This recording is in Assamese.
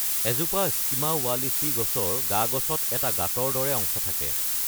এজোপা স্কিমা ৱালিচি গছৰ গা-গছত এটা গাঁতৰ দৰে অংশ থাকে।